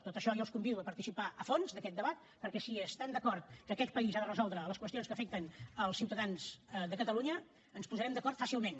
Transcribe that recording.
tot això jo els convido a participar hi a fons d’aquest debat perquè si estan d’acord que aquest país ha de resoldre les qüestions que afecten els ciutadans de catalunya ens posarem d’acord fàcilment